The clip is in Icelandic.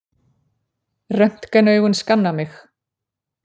Röntgenaugun skanna mig.